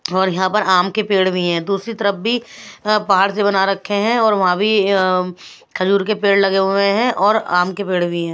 और यहाँ पर आम के पेड़ भी है दूसरी तरफ भी अ पहाड़ से बना रखे हैं और वहाँ भी अ खजूर के पेड़ लगे हुए है और आम के पेड़ भी है।